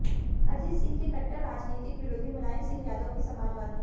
अजित सिंह के कट्टर राजनीतिक विरोधी मुलायम सिंह यादव की समाजवादी